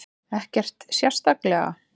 Ekkert sérstaklega.